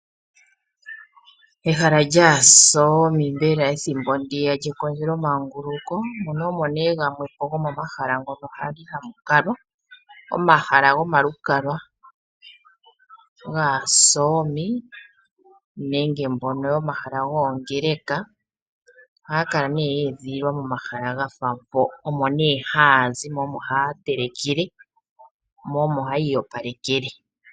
Ehala lyaasomi mbela ethimbo ndiya lyekondjelo manguluko. Muno omone gamwepo gomomahala ngono hamu kalwa. Omahala gomalukalwa gaAsomi nenge mbono yomahala gongeleka ohaya kala ne ye edhililwa momahala gafa mpo omone hayazi mo omo haatelekele mo omo hayi iyopalekele.